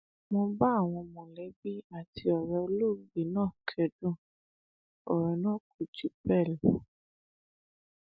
mo bá àwọn mọlẹbí àti ọrẹ olóògbé náà kẹdùn ọrọ náà kò jù bẹẹ lọ